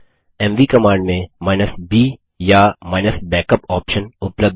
MV command में b या -backup option उपलब्ध हैं